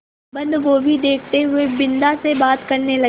बन्दगोभी देखते हुए बिन्दा से बात करने लगे